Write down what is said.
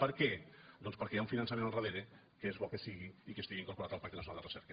per què doncs perquè hi ha un finançament al darrere que és bo que hi sigui i que estigui incorporat al pacte nacional de recerca